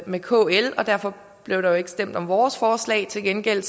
med kl derfor blev der jo ikke stemt om vores forslag til gengæld